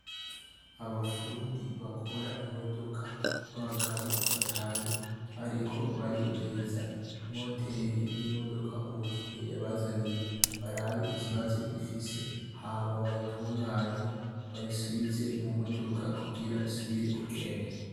Abapfundi bakora imodoka b'abagabo batanu bariko barihweza imoteri y'imodoka umukiriya yabazaniye barabe ikibazo ifise hama bayitunganye bayisubize mu modoka kugira isubire kugenda.